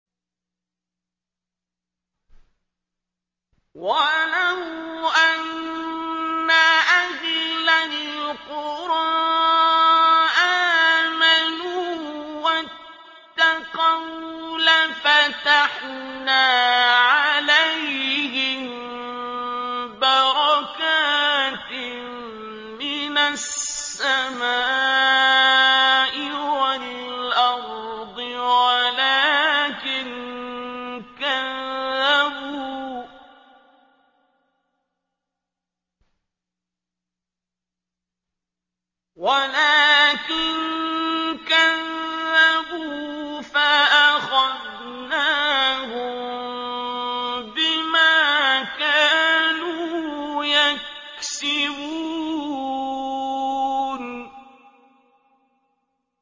وَلَوْ أَنَّ أَهْلَ الْقُرَىٰ آمَنُوا وَاتَّقَوْا لَفَتَحْنَا عَلَيْهِم بَرَكَاتٍ مِّنَ السَّمَاءِ وَالْأَرْضِ وَلَٰكِن كَذَّبُوا فَأَخَذْنَاهُم بِمَا كَانُوا يَكْسِبُونَ